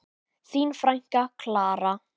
Þín frænka, Klara.